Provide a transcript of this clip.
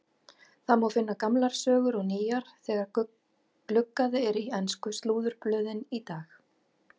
Það má finna gamlar sögur og nýjar þegar gluggað er í ensku slúðurblöðin í dag.